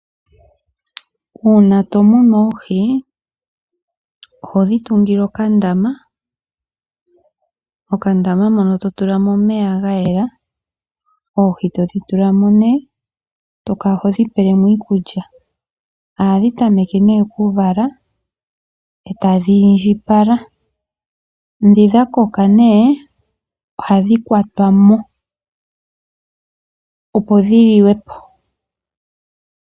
Uuna to munu oohi odhodjo tungile okandama mono to tula omeya ga yela oohi todhi tulamo eto kala hodhi pelemo iikulya. Ohadhi tameke oku vala etadhi indjipala dhi dhakoka ohadhi kwatwa mo, opo dhi liwepo